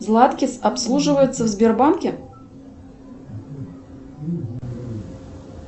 златкис обслуживается в сбербанке